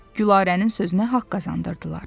Gülarənin sözünə haqq qazandırdılar.